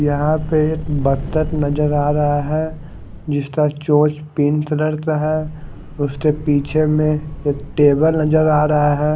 यहा पे एक बतख नजर आ रहा है उसका चोच पिंक कलर का है निचे में एक टेबल नजर आ रहा है।